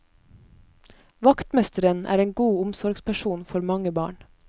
Vaktmesteren er en god omsorgsperson for mange barn.